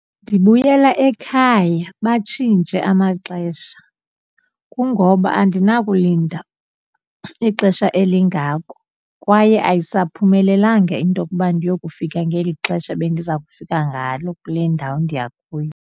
Ndibuyela ekhaya batshintshe amaxesha. Kungoba andinakulinda ixesha elingako kwaye ayisaphumelelanga into yokuba ndiyokufika ngeli xesha bendiza kufika ngalo kule ndawo ndiya kuyo.